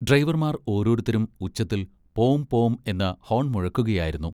ഡ്രൈവർമാർ ഓരോരുത്തരും ഉച്ചത്തിൽ പോം പോം എന്ന് ഹോൺ മുഴക്കുകയായിരുന്നു.